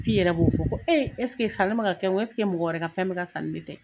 F'i yɛrɛ b'o fɔ ,ko ɛseke sanni bɛ ka kɛ n kun, ɛseke mɔgɔ wɛrɛ ka fɛn bɛ ka san ni ne tɛ?